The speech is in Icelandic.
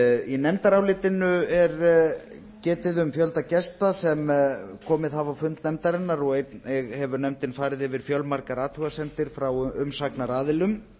í nefndarálitinu er getið um fjölda gesta sem komið hafa á fund nefndarinnar og einnig hefur nefndin farið yfir fjölmargar athugasemdir frá umsagnaraðilum